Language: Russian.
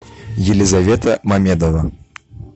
елизавета мамедова